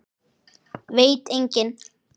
Veit enginn?